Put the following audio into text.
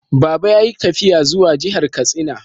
Baba ya yi tafiya zuwa jihar Katsina.